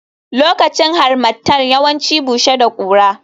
Lokacin Harmattan yawanci bushe da kura